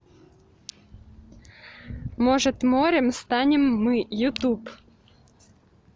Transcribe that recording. может морем станем мы ютуб